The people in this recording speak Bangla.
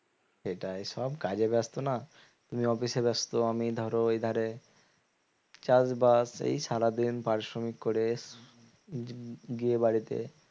সেটাই সব কাজে ব্যস্ত না তুমি office এ ব্যস্ত আমি ধরো এ ধারে চাষবাস এই সারাদিন পারিশ্রমিক করে গিয়ে বাড়িতে